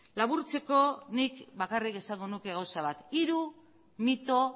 laburtzeko nik bakarrik esango nuke gauza bat hiru mito